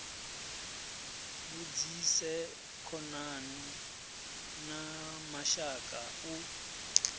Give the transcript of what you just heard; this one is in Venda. vhudzise khonani na mashaka u